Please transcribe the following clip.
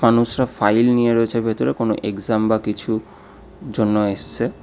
মানুষরা ফাইল নিয়ে রয়েছে ভেতরে কোনো এক্সাম বা কিছু জন্য এসছে।